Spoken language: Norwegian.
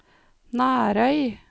Nærøy